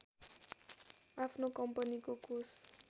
आफ्नो कम्पनीको कोष